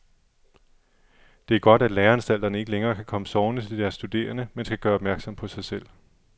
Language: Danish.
Det er godt, at læreanstalterne ikke længere kan komme sovende til deres studerende, men skal gøre opmærksom på sig selv.